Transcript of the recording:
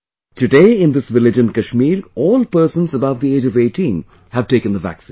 Today, in this village in Kashmir, all persons above the age of 18 have taken the vaccine